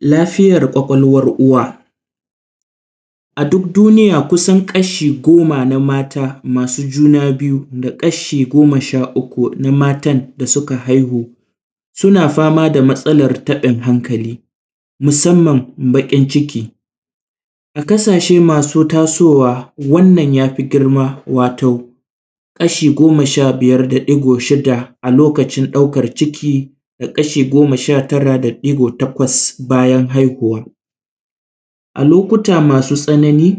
Lafiyar ƙwaƙwalwar uwa, a dudduniya kusan kasha goma na mata masu juna biyu da kasha goma sha uku na matan da suka haihu suna fama da matsalar taɓin hankali musamman baƙin ciki, a ƙasashe masu tasowa wannan yafi gima wato kasha goma sha biyar da ɗigo shida a lokacin ɗaukar ciki da kasha goma sha tara da ɗigo takwas bayan haihuwa, a lokuta masu tsanani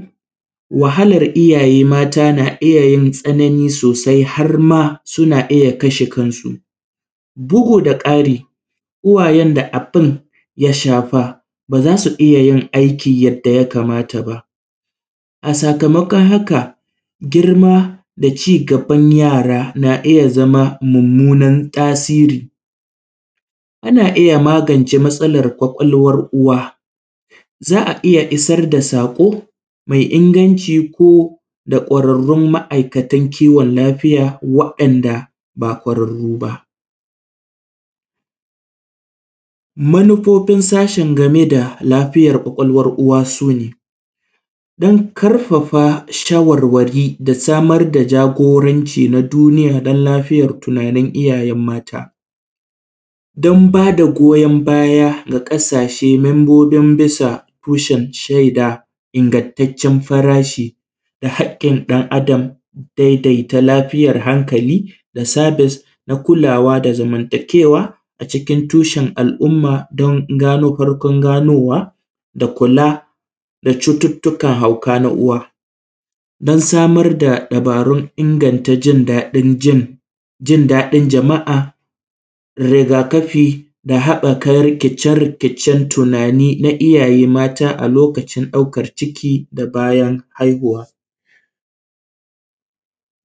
wahalar iyaye mata na iya yin tsanani sosai har ma suna iya kasha kansu, bugu da ƙari, uwayen da abun ya shafa ba za su iya yin aiki yadda ya kamata ba a sakamakon haka girma da cigaban yara na iya zama munmunan tasiri, ana iya magance matsalar ƙwaƙwalwr uwa, za a iya isar da sako mai inganci ko da ƙwararrun ma`aikatan kiwon lafiya waɗanda ba ƙwararru ba, manufofin sashen game da lafiyar ƙwaƙwalwar uwa sune, dan ƙarfafa shawarwari da samar da jagoranci na duniya dan lafiyar tunanin iyaye mata, dan ba da goyan baya ga ƙasashe membobin bisa tushen shaida ingantaccen farashi da haƙƙin ɗan Adam, daidaita lafiyar hankali, da sabis na kulawa da zamantakewa a cikin tushen al`umma don gano farkon ganowa da kula da cututtukan hauka na uwa, dan samar da dabarun inganta jin daɗin jin jin daɗin jama`a da riga kafi, da haɓɓaka rikice rikicen tunani na iyaye mata a lokacin ɗaukar ciki da bayan haihuwa,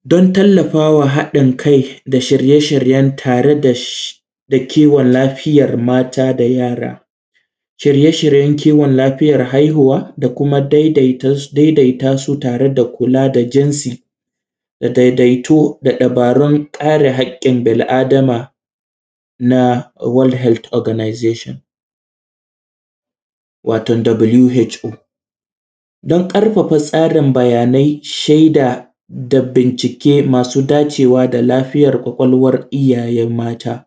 don tallafawa haɗin kai da shirye shiryen tare da shi da kiwon lafiyar mata da yara, shiye shryen kiwon lafiyar haihuwa da kuma daidai daidaita su tare da kula da jinsi da daidaito da dabarun kare haƙƙin bil adama na “world health organization” wato “WHO” don ƙarfafa tsarin bayanai, shaida da bincike masu dacewa da lafiyar ƙwaƙwalwar iyaye mata.